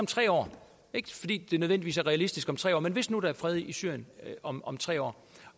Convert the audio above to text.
tre år ikke fordi det nødvendigvis er realistisk om tre år men hvis nu at der er fred i syrien om om tre år